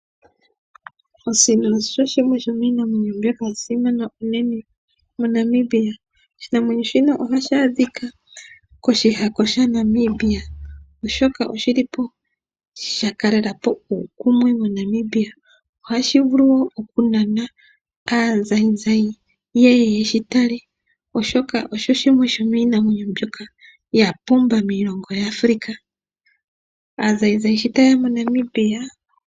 Osino oshinanwenyo oshimwe shomiinamwenyo mbyoka yasimana moNamibia. Ohayi adhika koshihako shaNamibia oshoka shakalelapo uukumwe moNamibia. Aazayizayi yeye yeshitale oshoka oshimwe shomiinamwenyo mbyoka yapumbwa miilongo yimwe yaAfrica.